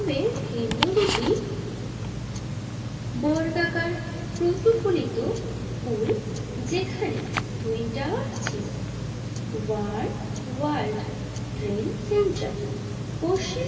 সে কেন্দ্র দুটি বর্গাকার প্রতিফলিত পুল যেখানে টুইন টাওয়ার ছিল ওয়ান ওয়ার্ল্ড ট্রেড সেন্টার পশ্চিম।